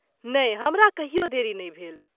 नहि, हमरा कहियो देरी नहि भेल।